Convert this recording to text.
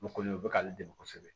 O kɔni o bɛ k'ale dɛmɛ kosɛbɛ